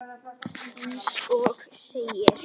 Eins og segir.